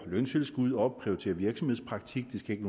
løntilskud og prioritere virksomhedspraktik det skal ikke